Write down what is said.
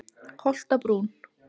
Holtabrún